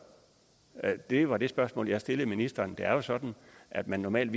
det var det spørgsmål jeg stillede ministeren det er jo sådan at man normalt